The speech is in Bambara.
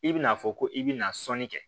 I bɛna fɔ ko i bɛna sɔnni kɛ